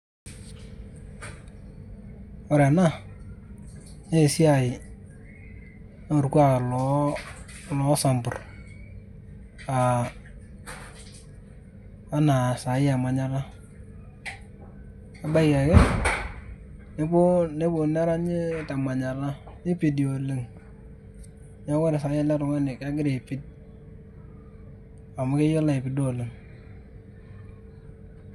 Ore ena, naa esiaiii orkuaak loo samburr aa ana saai e manyatta, ebaiki ake, nepuo neranyi te manyatta nipidi oleng neeku ore saa hii ele tungani naa kegira aipid, amu keyiolo aipido oleng.